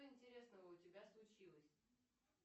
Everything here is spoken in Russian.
что интересного у тебя случилось